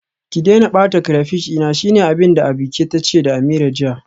Ki daina bata crayfish dina, shine abinda Abike tace da Ameerah jiya.